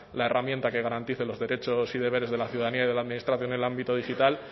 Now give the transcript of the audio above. la herramienta que garantice los derechos y deberes de la ciudadanía y de la administración en el ámbito digital